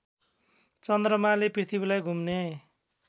चन्द्रमाले पृथ्वीलाई घुम्ने